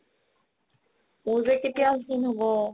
মোৰ যে কেতিয়া ক্ষীণ হ'ব ?